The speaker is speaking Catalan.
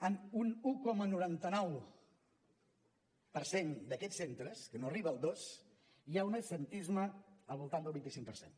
en un un coma noranta nou per cent d’aquests centres que no arriba al dos hi ha un absentisme al voltant del vint cinc per cent